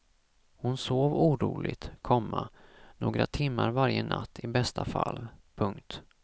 Hon sov oroligt, komma några timmar varje natt i bästa fall. punkt